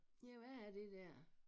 Ja hvad er det der